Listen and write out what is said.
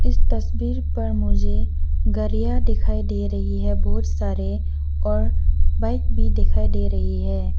इस तस्वीर पर मुझे गरिया दिखाई दे रही है बहुत सारे और बाइक भी दिखाई दे रही है।